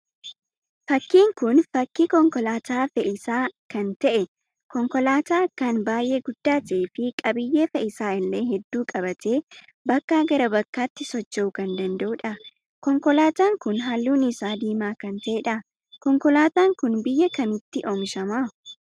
Fakkiin kun, fakkii konkolaataa fe'iisaa lan ta'e, konkolaataa akkaan baayyee guddaa ta'ee fi qabiyyee fe'isaa illee hedduu qabatee bakkaa gara bakkaatti socho'uu kan danda'udha. Konkolaataan kun halluun isaa diimaa kan ta'edha. Konkolaataan kun biyya kamitti oomishama?